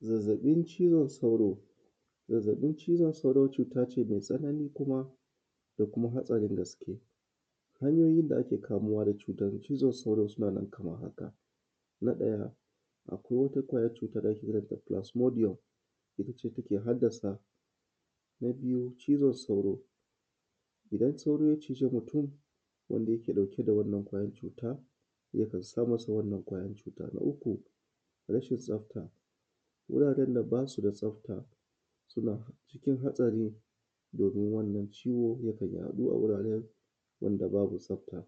zazzabin cizon sauro zazzabin cizon sauro cutace mai tsanani da kuma hadarin gaske hanyoyin da ake kamuwa cizon sauron sun hada Kaman haka na daya akwai wata kwayar cuta da ake kiranta fulasmodiyom ittace ke haddasa na biyu cizon sauro idan sauro yachiji mutum wanda yake dauke da wannan cuta yakan sa masa wannan cuta na uku rashin tsafta wuraren da basuda tsafta suna cikin hadari domin wannan ciwo yakan yadu a wuraren da babu tsafta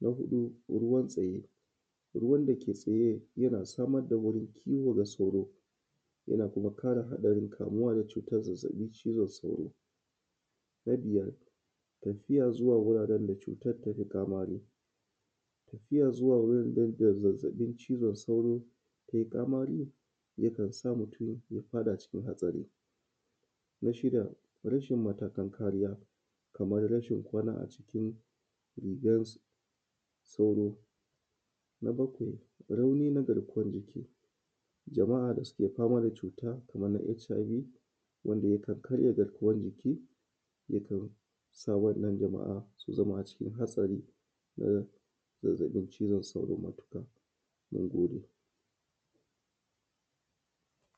na hudu ruwan tsaye ruwan dake tsaye yana samar da wurin kiwo ga sauro yana kara hadarin kamuwa da cutar zazzabin cizon sauro na biyar tafiya zuwa wuraren da zazzabin cizon sauro yayi Kamari yakansa akamu dashi na shida rashin mallakan kariya Kaman rashin kwana a cikin net gidan sauro na bakwai rauni na garkuwan jiki jama’a da suke fama da cutan Kaman hiv wanda yakan karya garkuwan jiki yakan sa wannan jama’a su zama a cikin hadari na irrin zazzabin cizon sauro nagode